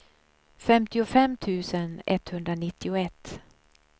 femtiofem tusen etthundranittioett